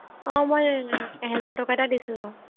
অ মই আহ এহেজাৰ টকা এটা দিছিলো